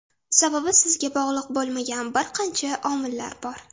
Sababi sizga bog‘liq bo‘lmagan bir qancha omillar bor.